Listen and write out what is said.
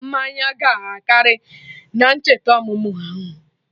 Mmanya gị akarị na-ncheta ọmụmụ ahụ